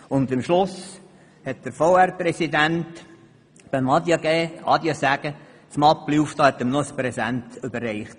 Und beim Verabschieden hat der Verwaltungsratspräsident seine Mappe geöffnet und ein Präsent überreicht.